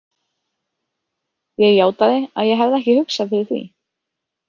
Ég játaði að ég hefði ekki hugsað fyrir því.